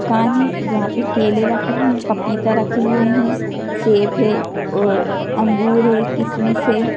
दुकान है जहां पर केले रखे हुए हैं पपीता रखे हुए हैं सेब है और अंगूर है किसमिस हैं ।